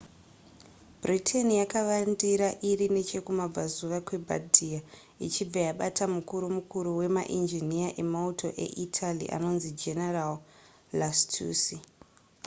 britain yakavandira iri nechekumabvazuva kwebardia ichibva yabata mukuru mukuru wemainjiniya emauto eitaly anonzi general lastucci